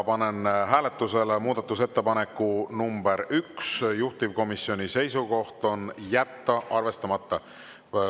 Panen hääletusele muudatusettepaneku nr 1, juhtivkomisjoni seisukoht on jätta arvestamata.